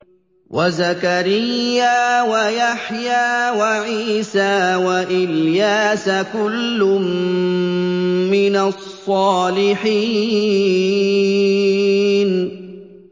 وَزَكَرِيَّا وَيَحْيَىٰ وَعِيسَىٰ وَإِلْيَاسَ ۖ كُلٌّ مِّنَ الصَّالِحِينَ